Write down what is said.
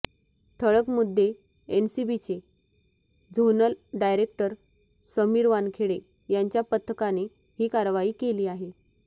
ठळक मुद्देएनसीबीचे zonal director Sameer Wankhede यांच्या पथकाने ही कारवाई केली आहे